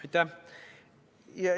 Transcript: Aitäh!